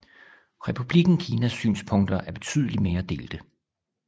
Republikken Kinas synspunkter er betydeligt mere delte